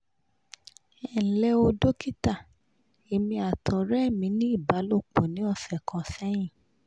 enle o dókítà èmi àti ọ̀rẹ́ mi ní ìbálòpọ̀ ní ọ̀sẹ̀ kan sẹ́yìn